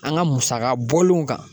An ka musaka bɔlenw kan